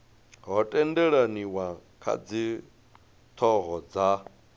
ho tendelaniwa kha dzithoho dza